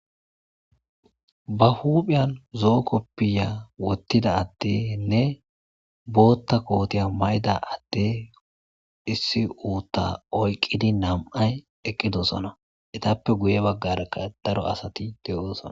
Ba huphiyan zoo koppiya wottida attenne bootta kootiya ma7ida atte issi uutta oyqqidi nam7ay eqqidosona etappe guye baggarakka daro asati de,osona.